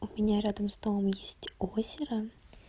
у меня рядом с домом есть озеро